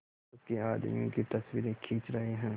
उसके आदमियों की तस्वीरें खींच रहे हैं